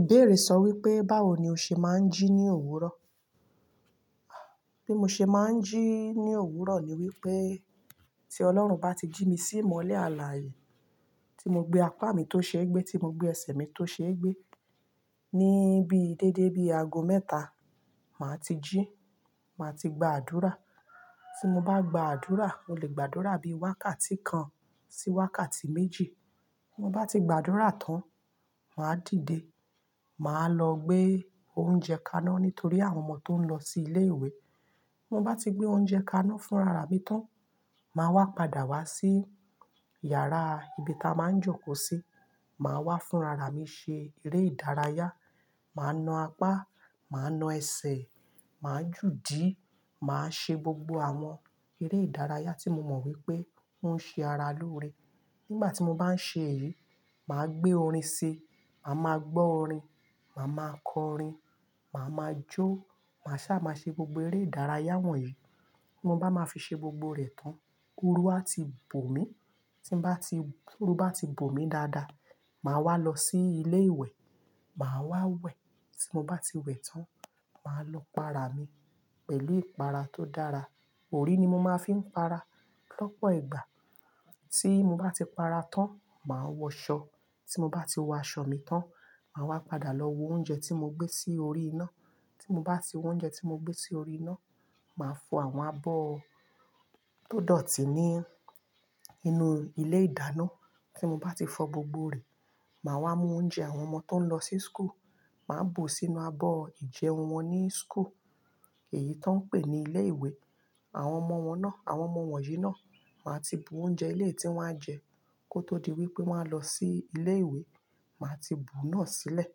Ìbéèrè sọ wípé báwo ni o ṣe máa ń jí ní òwúrọ̀? Bí mo ṣe máa ń jí ní òwúrọ̀ ni wípé tí Ọlọ́run bá ti jí mi sí ìmọ́lẹ̀ àlàaye, tí mo gbé apá mi tó ṣe ẹ gbẹ́, tí mo gbé ẹsẹ̀ mi tó ṣe ẹ gbẹ́ níbí déédé bí ago mẹ́ta, màá ti jí, màá ti gba àdúrà. Tí mo bá gba àdúrà, mo lè gbàdúrà bí wákàtí kan sí wákàtí méjì. Ti mo bá ti gbà àdúrà tán, màá dìde, màá lọ gbé oúnjẹ kaná nítorí àwọn ọmọ tó ń lọ sí ilé ìwé. Ti mo bá ti gbé oúnjẹ kaná fún rara mi tán, màá wá padà wá sí yàrá ibi ta a máa ń jókòó sí, màá wá fún rara mi ṣe eré ìdárayá, màá nà apá, màá nà ẹsẹ̀, màá júdi, màá ṣe gbogbo àwọn eré ìdárayá tí mo mọ̀ wípé ó ń ṣe ara lóore. Nígbà tí mo bá ń ṣe èyí, màá gbé orin ṣi, màá ma gbọ́ orin, màá ma kọ orin, màá ma jó, màá sá màá ṣe gbogbo eré ìdárayá wọ̀n yẹn. Ti mo bá máa fi ṣe gbogbo rẹ̀ tán, orú á ti bò mí. Tí mo bá ti-- to ru bá ti bò mí dáadáa, màá wá lọ sí ilé ìwẹ̀, màá wá wẹ̀. Tí mo bá ti wẹ̀ tán, màá lọ pa ara mi pẹ̀lú ìpara tó dára. Orí ni mo máa fi ń para lọ́pọ̀ ìgbà. Tí mo bá ti para tán, màá wọ ṣọ. Tí mo bá ti wọ aṣọ mi tán, màá wá padà lọ wo oúnjẹ tí mo gbé sí orí iná. Tí mo bá ti wo oúnjẹ tí mo gbé sí orí iná, màá fọ àwọn abọ́ tó dọ̀tí ní inú ilé ìdáná. Tí mo bá ti fọ gbogbo rẹ̀, màá wá mú oúnjẹ àwọn ọmọ tó ń lọ sí school, màá bù sínú abọ́ ìjẹun wọn ní school. Èyí tó ń pè ní ilé ìwé. Àwọn ọmọ wọn náà, àwọn ọmọ wọ̀nyí náà, màá ti bù oúnjẹ eléyi tí wọ́n á jẹ kó tó di wípé wọ́n á lọ sí ilé ìwé, màá ti bù náà sílẹ̀.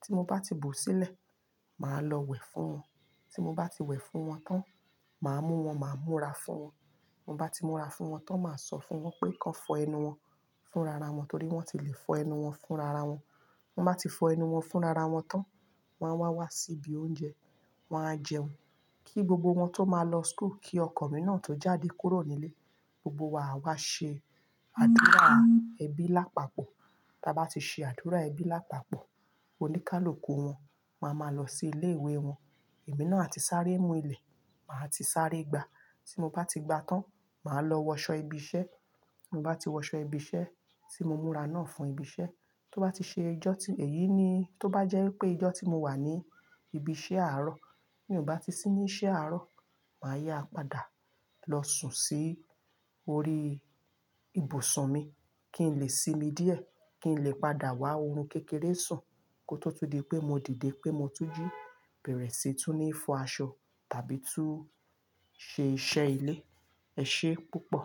Tí mo bá ti bù sílẹ̀, màá lọ wẹ̀ fún wọn. Tí mo bá ti wẹ̀ fún wọn tán, màá mú wọn, màá múra fún wọn. Ti mo bá ti múra fún wọn tán, màá sọ fún wọn pé kan fọ ẹnu wọn fún rara wọn torí wọ́n ti lè fọ ẹnu wọn fún rara wọn. Tan bá ti fọ ẹnu wọn fún rara wọn tán, wọn á wá wá síbi oúnjẹ, wọn á jẹun. Kí gbogbo wọn tó máa lọ school, kí ọkọ̀ mi náà tó jáde kúrò nílé, gbogbo wa á wá ṣe àdúrà ẹbí lápapọ̀. Ta a bá ti ṣe àdúrà ẹbí lápapọ̀, oníkálùkù wọn máa ma lọ sí ilé ìwé wọn. Ẹ̀mí náà a ti sáré mú ilẹ̀, màá ti sáré gba. Tí mo bá ti gba tán, màá lọ wọ ṣọ ibi iṣẹ́. Tí mo bá ti wọ aṣọ ibi iṣẹ́, tí mo múra náà fún ibi iṣẹ́, tó bá ti ṣe ijọ́ tí èyí ni, tó bá jẹ́ pé ijọ́ tí mo wà ní ibi iṣẹ́ àárọ̀, bí mi o bá ti sì ní iṣẹ́ àárọ̀, màá yá padà lọ sùn sí orí ibùsùn mi kí n lè sinmi díẹ̀ kí n lè padà wá oorun kékeré sùn kó tó tún di pé mo dìde pé mo tún jí, bẹ̀rẹ̀ síi tún ní fọ aṣọ tàbí tún ṣe iṣẹ́ ilé. Ẹ ṣe púpọ̀.